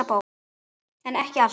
en ekki alltaf